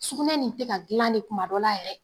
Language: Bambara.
Sugunɛ nin tɛ ka dilan de kuma dɔ la yɛrɛ